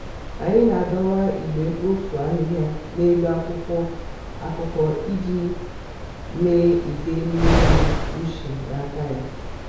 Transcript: anyị na-adọwa igbe mkpofu ahịhịa n'elu akwụkwọ akụkọ iji mịa ide mmiri ushi n'aka ya.